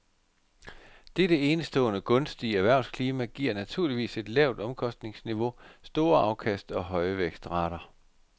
Dette enestående gunstige erhvervsklima giver naturligvis et lavt omkostningsniveau, store afkast og høje vækstrater.